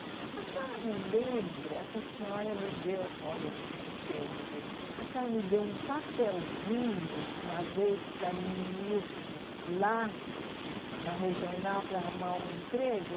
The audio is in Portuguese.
A senhora não lembra que a senhora me deu, olha o termo dele, a senhora me deu um papelzinho uma vez para mim ir lá na regional para arrumar um emprego?